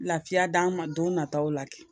Lafiya d'an ma don nataw la